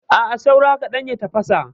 A'a, saura kaɗan ya tafasa.